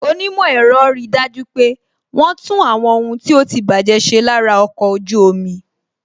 Onímò ẹ̀rọ ri dájú pé wọn tún àwọn ohun tí ó ti baje ṣe lára ọkọ̀ ojú omi